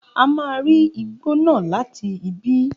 A máa ri igbó náà láti ibí